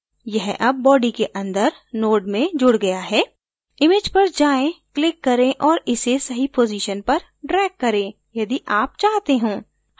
यह अब body के अंदर node में जुड गया है image पर जाएँ click करें और इसे सही position पर drag करें यदि आप चाहते हों